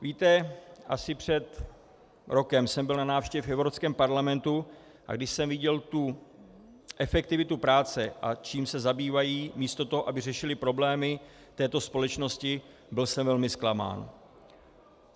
Víte, asi před rokem jsem byl na návštěvě v Evropském parlamentu, a když jsem viděl tu efektivitu práce, a čím se zabývají místo toho, aby řešili problémy této společnosti, byl jsem velmi zklamán.